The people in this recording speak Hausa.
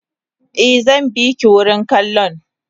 Eh zanbiki wurin kallon